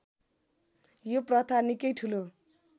यो प्रथा निकै ठुलो